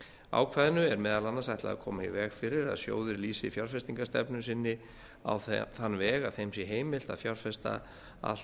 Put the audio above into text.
ákvæðinu er meðal annars ætlað að koma í veg fyrir að sjóðir lýsi fjárfestingarstefnu sinni á þann veg að þeim sé heimilt að fjárfesta allt